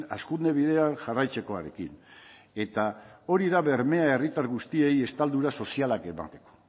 hazkunde bidean jarraitzekoarekin eta hori da bermea herritar guztiei estaldura sozialak emateko